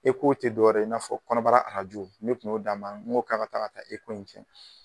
ECO tɛ dɔwɛrɛ ye i n'a fɔ kɔnɔbara arajo ne kun y'o d'a ma n ko k'a ka taga ka taa ECO in kɛ.